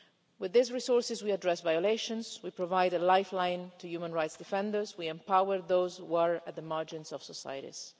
With these resources we address violations, we provide a lifeline to human rights defenders, we empower those were at the margins of societies.